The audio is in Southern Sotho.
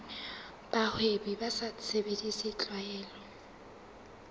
bahwebi ba sa sebedise tlwaelo